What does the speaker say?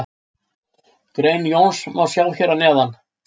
Grein Jóns má sjá hér að neðan.